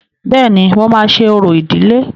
Bẹ́ẹ̀ni, mo máa ṣe orò ìdílé.